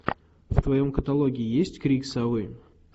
в твоем каталоге есть крик совы